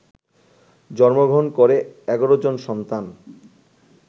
জন্মগ্রহণ করে ১১ জন সন্তান